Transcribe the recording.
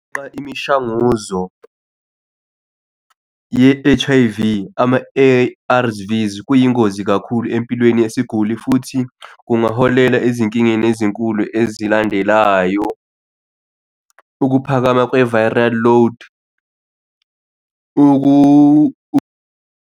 Imishanguzo yi-H_I_V ama-A_R_Vs kuyingozi kakhulu empilweni yesiguli futhi kungaholela ezinkingeni ezinkulu ezilandelayo. Ukuphakama kwe-viral load .